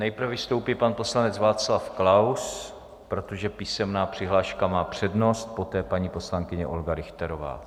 Nejprve vystoupí pan poslanec Václav Klaus, protože písemná přihláška má přednost, poté paní poslankyně Olga Richterová.